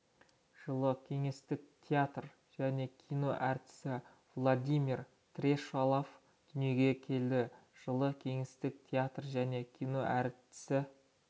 жылы кеңестік театр және кино әртісі владимир трещалов дүниеге келді жылы кеңестік театр және кино әртісі